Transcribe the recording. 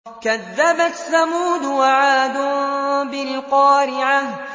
كَذَّبَتْ ثَمُودُ وَعَادٌ بِالْقَارِعَةِ